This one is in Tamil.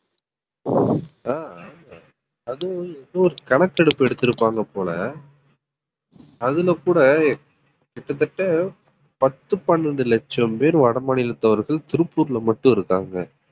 ஆஹ் அதுவும் எந்த ஒரு கணக்கெடுப்பு எடுத்திருப்பாங்க போல அதுல கூட கிட்டத்தட்ட பத்து பன்னெண்டு லட்சம் பேர் வடமாநிலத்தவர்கள் திருப்பூர்ல மட்டும் இருக்காங்க